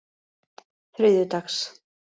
þriðjudags